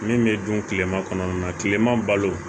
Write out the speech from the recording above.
Min bɛ dun kilema kɔnɔna na kilema balo